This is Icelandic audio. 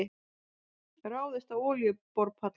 Ráðist á olíuborpall